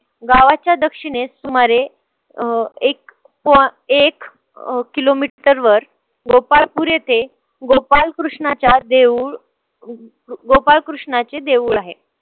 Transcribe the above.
गावाच्या दक्षिणेस सुमारे अं एक अं एक अं kilometer वर गोपाळपुर येथे गोपाल कृष्णाच्या देऊळ गोपाळ कृष्णाचे देऊळ आहे.